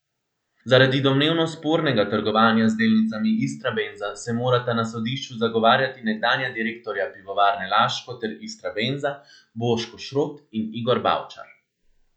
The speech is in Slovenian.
Zaradi domnevno spornega trgovanja z delnicami Istrabenza se morata na sodišču zagovarjati nekdanja direktorja Pivovarne Laško ter Istrabenza, Boško Šrot in Igor Bavčar.